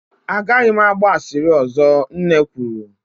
A gaghị m agba asịrị ọzọ, Nne kwuru